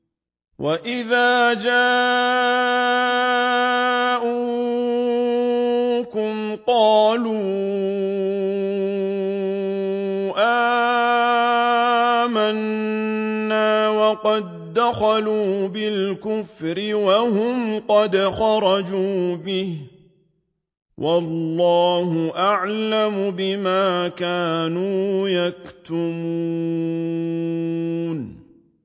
وَإِذَا جَاءُوكُمْ قَالُوا آمَنَّا وَقَد دَّخَلُوا بِالْكُفْرِ وَهُمْ قَدْ خَرَجُوا بِهِ ۚ وَاللَّهُ أَعْلَمُ بِمَا كَانُوا يَكْتُمُونَ